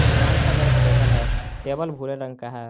दुकान के अंदर एक टेबल है टेबल भूरे रंग का है।